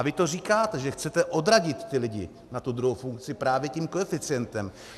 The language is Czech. A vy to říkáte, že chcete odradit ty lidi na tu druhou funkci právě tím koeficientem.